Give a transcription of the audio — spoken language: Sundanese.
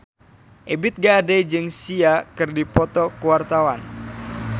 Ebith G. Ade jeung Sia keur dipoto ku wartawan